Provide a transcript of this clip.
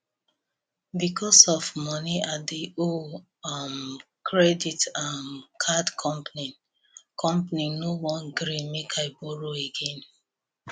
because of money i dey owe um credit um card company company no wan gree make i borrow again